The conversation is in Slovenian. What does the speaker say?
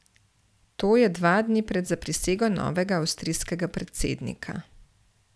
To je dva dni pred zaprisego novega avstrijskega predsednika.